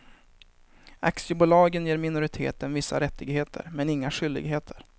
Aktiebolagslagen ger minoriteten vissa rättigheter men inga skyldigheter.